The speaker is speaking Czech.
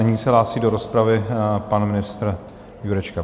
Nyní se hlásí do rozpravy pan ministr Jurečka.